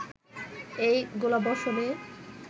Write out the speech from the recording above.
এই গোলাবর্ষণে